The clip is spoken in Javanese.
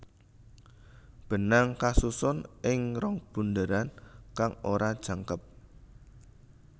Benang kasusun ing rong bunderan kang ora jangkep